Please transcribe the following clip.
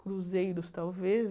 Cruzeiros, talvez.